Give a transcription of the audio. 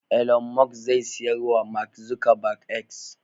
Elon musk zai siyar wa Mak Zukabag "X"